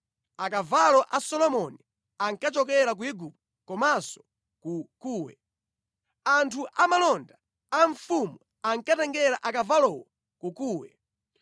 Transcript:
Akavalo a Solomoni ankachokera ku Igupto komanso ku Kuwe. Anthu a malonda a mfumu ankatengera akavalowo ku Kuwe.